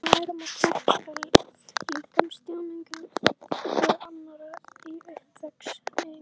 Við lærum að túlka líkamstjáningu annarra í uppvextinum.